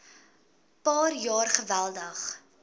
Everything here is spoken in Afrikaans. paar jaar geweldig